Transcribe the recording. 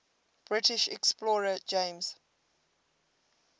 british explorer james